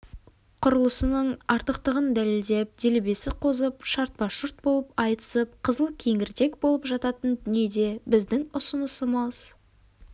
құрылысының артықтығын дәлелдеп делебесі қозып шартпа-шұрт болып айтысып қызыл кеңірдек болып жататын дүниеде біздің ұсынысымыз